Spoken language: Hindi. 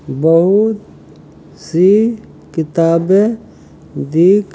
बहुत सी किताबे दिख --